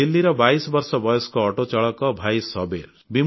ଦିଲ୍ଲୀର 22 ବର୍ଷ ବୟସ୍କ ଅଟୋ ଚାଳକ ଭାଇ ସବୀର୍